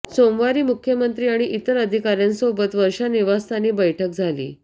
सोमवारी मुख्यमंत्री आणि इतर अधिकाऱ्यांसोबत वर्षा निवासस्थानी बैठक झाली